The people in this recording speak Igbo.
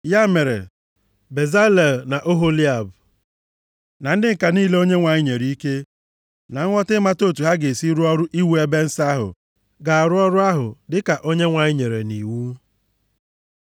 Ya mere, Bezalel na Oholiab na ndị ǹka niile Onyenwe anyị nyere ike na nghọta ịmata otu ha ga-esi rụọ ọrụ iwu ebe nsọ ahụ ga-arụ ọrụ ahụ dịka Onyenwe anyị nyere nʼiwu.